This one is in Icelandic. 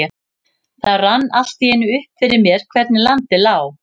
Það rann allt í einu upp fyrir mér hvernig landið lá.